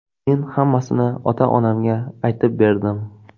Men hammasini ota-onamga aytib berdim.